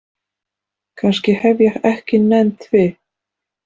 Kannski hef ég ekki nennt því.